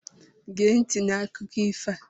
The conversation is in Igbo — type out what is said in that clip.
Géé nti n' akụkọ ifo a!